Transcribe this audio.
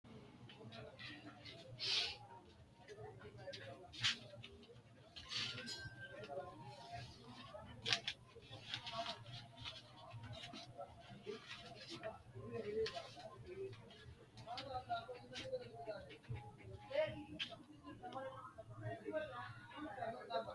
Kunni manni maa assanni no? Kowicho mannu lowohu ganba yee nooha ikanna mayira fule uure no? Kunni manni mayi ayaanna ayirisanni no?